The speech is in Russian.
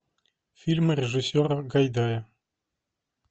фильмы режиссера гайдая